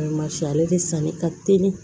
ale de sanni ka teli